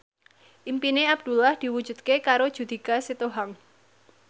impine Abdullah diwujudke karo Judika Sitohang